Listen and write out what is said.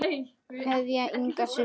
Kveðja, Inga systir.